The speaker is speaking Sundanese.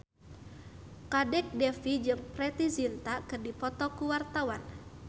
Kadek Devi jeung Preity Zinta keur dipoto ku wartawan